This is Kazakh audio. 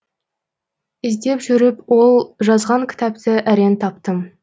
іздеп жүріп ол жазған кітапты әрең таптым